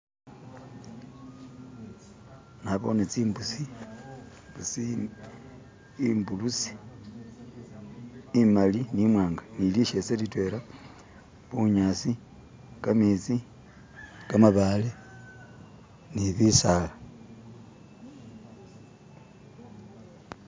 Nabone zimbusi zi..imbusi imali ni mwanga ni lishese lidwena bunyasi, gamezi, gamabale ni bisala.